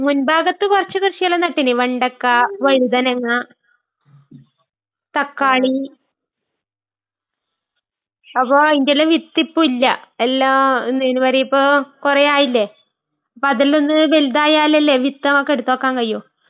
മുൻഭാഗത്ത് കുറച്ചു കൃഷികള് നട്ടിന്..വെണ്ടയ്ക്ക, വഴുതനങ്ങ.............തക്കാളി..അപ്പൊ അയ്ൻറെല്ലാം വിത്തിപ്പോ ഇല്ല. എല്ലാം എന്താ അയ്ന് പറയ്കിപ്പോ.. കുറേ ആയില്ലേ..അപ്പൊ അതിൽ നിന്ന് വലുതായാലല്ലേ വിത്ത് നമ്മക്ക് എടുത്തുവയ്ക്കാൻ കഴിയൂ..